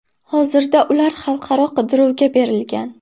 Hozirda ular xalqaro qidiruvga berilgan.